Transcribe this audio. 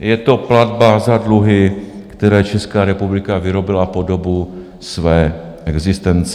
je to platba za dluhy, které Česká republika vyrobila po dobu své existence.